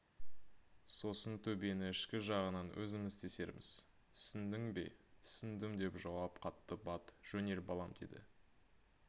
сосын төбені ішкі жағынан өзіміз тесерміз түсіндің бе түсіндім деп жауап қатты бат жөнел балам деді